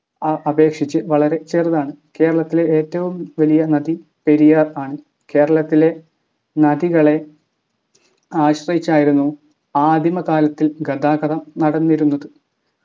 ഏർ അപേക്ഷിച്ച് വളരെ ചെറുതാണ് കേരളത്തിലെ ഏറ്റവും വലിയ നദി പെരിയാർ ആണ് കേരളത്തിലെ നദികളെ ആശ്രയിച്ചായിരുന്നു ആദിമ കാലത്തിൽ ഗതാഗതം നടന്നിരുന്നത്